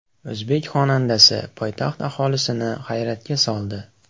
O‘zbek xonandasi poytaxt aholisini hayratga soldi.